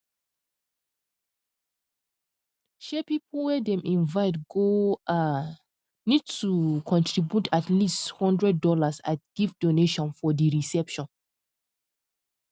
um people wey dem invite go um need to um contribute at least hundred dollars as gift donation for di reception